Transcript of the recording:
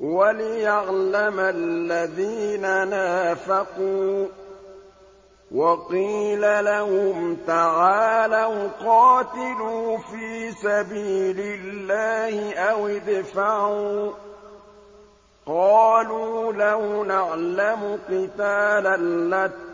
وَلِيَعْلَمَ الَّذِينَ نَافَقُوا ۚ وَقِيلَ لَهُمْ تَعَالَوْا قَاتِلُوا فِي سَبِيلِ اللَّهِ أَوِ ادْفَعُوا ۖ قَالُوا لَوْ نَعْلَمُ قِتَالًا